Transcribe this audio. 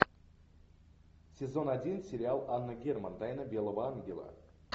сезон один сериал анна герман тайна белого ангела